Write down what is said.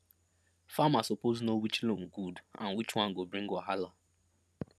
farmer suppose know which loan good and which one go bring wahala